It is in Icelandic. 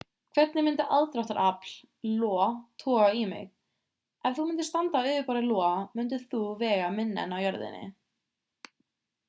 hvernig myndi aðdráttarafl io toga í mig ef þú myndir standa á yfirborði io myndir þú vega minna en á jörðinni